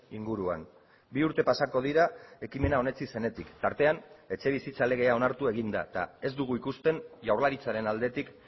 inguruan bi urte pasako dira ekimena onetsi zenetik tartean etxebizitza legea onartu egin da eta ez dugu ikusten jaurlaritzaren aldetik